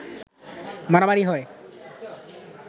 মারামারি হয়